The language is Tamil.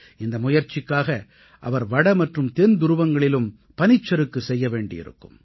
இந்த முயற்சிக்காக அவர் வட மற்றும் தென் துருவங்களிலும் பனிச்சறுக்கு செய்ய வேண்டியிருக்கும்